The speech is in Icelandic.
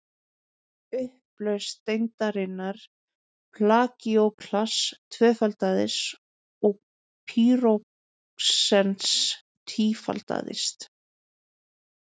upplausn steindarinnar plagíóklass tvöfaldaðist og pýroxens tífaldaðist